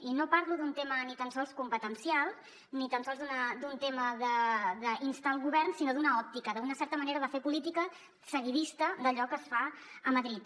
i no parlo d’un tema ni tan sols competencial ni tan sols d’un tema d’instar el govern sinó d’una òptica d’una certa manera de fer política seguidista d’allò que es fa a madrid